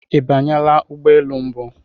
Ị banyela ụgbọ elu mbụ?